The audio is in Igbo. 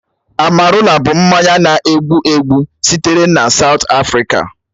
Amarula bụ mmanya na-egbu egbu sitere na Saụt Afrịka.